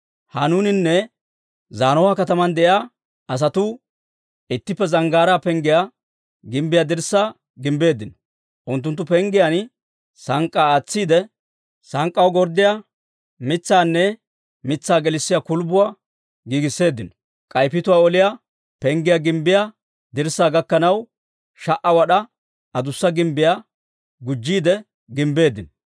Hanuuninne Zaanoha kataman de'iyaa asatuu ittippe Zanggaaraa Penggiyaa gimbbiyaa dirssaa gimbbeeddino. Unttunttu penggiyaan sank'k'aa aatsiide, sank'k'aw gorddiyaa mitsaanne mitsaa gelissiyaa kulbbuwaa giigisseeddino. K'ay Pituwaa Oliyaa Penggiyaa gimbbiyaa dirssaa gakkanaw, sha"a wad'aa adussa gimbbiyaa gujjiide gimbbeeddino.